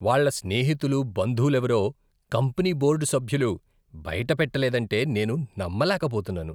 వాళ్ళ స్నేహితులు, బంధువులేవరో కంపెనీ బోర్డు సభ్యులు బయటపెట్టలేదంటే నేను నమ్మలేక పోతున్నాను.